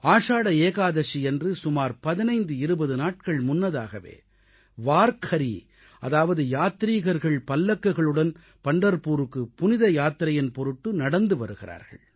ஆடி ஏகாதசியன்று சுமார் 1520 நாட்கள் முன்னதாகவே வார்க்கரீ அதாவது யாத்ரீகர்கள் பல்லக்குகளுடன் பண்டர்புருக்கு புனித யாத்திரையின் பொருட்டு நடந்து வருகிறார்கள்